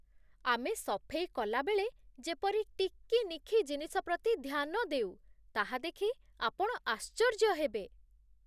ଆମେ ସଫେଇ କଲାବେଳେ ଯେପରି ଟିକି ନିଖି ଜିନିଷ ପ୍ରତି ଧ୍ୟାନ ଦେଉ, ତାହା ଦେଖି ଆପଣ ଆଶ୍ଚର୍ଯ୍ୟ ହେବେ।